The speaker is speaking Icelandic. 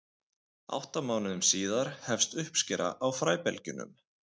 átta mánuðum síðar hefst uppskera á fræbelgjunum